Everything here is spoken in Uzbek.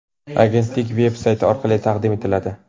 agentlik veb-sayti orqali taqdim etiladi.